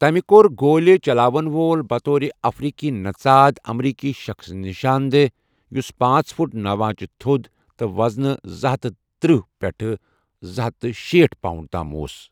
تمہِ کوٚرگولہِ چلاون وول بطور افریقی نژاد امریکی شخٕص نِشان دہ ، یٗس پانژھ فٹ نوَ آنچہِ تھو٘د تہٕ وزنہٕ زٕ ہتھَ تٔرہ پٮ۪ٹھٕہ زٕ ہتھَ شیٹھ پاؤنڈَ تام اوس۔